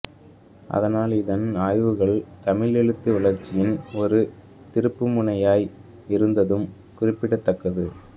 அதனால் இதன் ஆய்வுகள் தமிழ் எழுத்து வளர்ச்சியின் ஒரு திருப்புமுனையாய் இருந்ததும் குறிப்பிடத்தக்கது